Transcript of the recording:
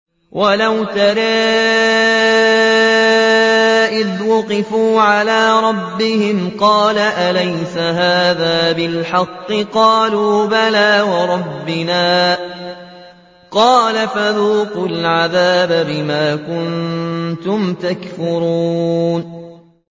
وَلَوْ تَرَىٰ إِذْ وُقِفُوا عَلَىٰ رَبِّهِمْ ۚ قَالَ أَلَيْسَ هَٰذَا بِالْحَقِّ ۚ قَالُوا بَلَىٰ وَرَبِّنَا ۚ قَالَ فَذُوقُوا الْعَذَابَ بِمَا كُنتُمْ تَكْفُرُونَ